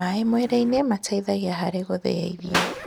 maĩ mwĩrĩ-ini mateithagia harĩ guthia irio